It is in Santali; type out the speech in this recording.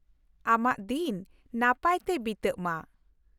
ᱟᱢᱟᱜ ᱫᱤᱱ ᱱᱟᱯᱟᱭ ᱛᱮ ᱵᱤᱛᱟᱹᱜ ᱢᱟ !